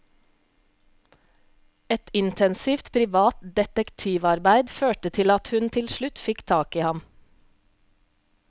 Et intensivt privat detektivarbeid førte til at hun til slutt fikk tak i ham.